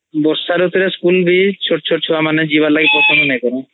ବର୍ଷା ରୁତୁ ରେ ସ୍କୁଲ୍ ବି ଛଟ ଛଟ ଛୁଆ ମାନେ ଯିବାଲାଗୀ ପସନ୍ଦ ନାଇ କରନ୍ତି